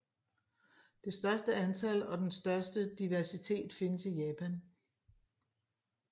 Det største antal og den største diversitet findes i Japan